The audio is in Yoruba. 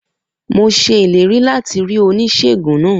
Mo ṣe ìlérí láti rí Oníṣèègùn náà